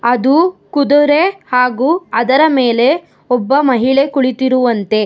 ಅದು ಕುದುರೆ ಹಾಗು ಅದರ ಮೇಲೆ ಒಬ್ಬ ಮಹಿಳೆ ಕುಳಿತಿರುವಂತೆ--